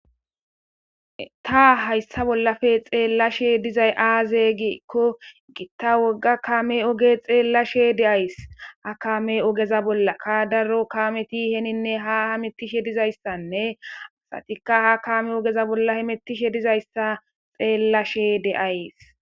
Ta hayissa bolappe xelashshe dizay aze gikko gita woga kamme oge xelashshe de'ays henine ha kameza ogeza bolakka daro kammeti ha hemetishshe dizayissanne ubatikka ha kammeza bolla hamutishe dizayissa xelashshe de'ays